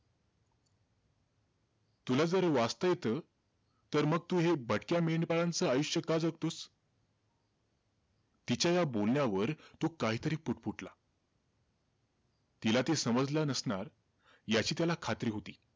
तुला जर वाचता येतं तर मग तू हे भटक्या मेंढपाळांचं आयुष्य का जगतोस? तिच्या ह्या बोलण्यावर तो काहीतरी पुटपुटला. तिला ते समजलं नसणार, याची त्याला खात्री होती.